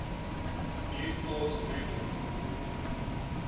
new thought movement